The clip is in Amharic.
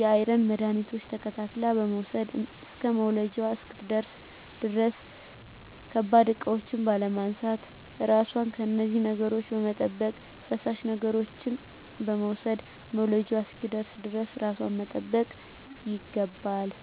የአይረን መድሀኒቶች ተከታትላ በመዉሰድ እስከ መዉለጃዋ እስክትደርስ ድረስ ከባድ እቃዎች ባለማንሳት ራሷን ከነዚህ ነገሮች በመጠበቅ ፈሳሽ ነገሮችን በመዉሰድ መዉለጃዋ እስኪደርስ ድረስ ራሷን መጠበቅ ይገባል